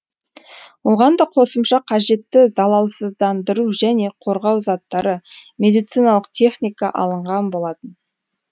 оған да қосымша қажетті залалсыздандыру және қорғау заттары медициналық техника алынған болатын